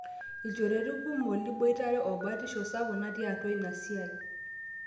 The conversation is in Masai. ilchorueti kumot liboitare o batishu sapuk natii atua inasiai